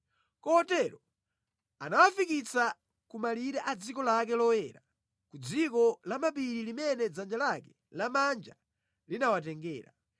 Kotero anawafikitsa ku malire a dziko lake loyera, ku dziko lamapiri limene dzanja lake lamanja linawatengera.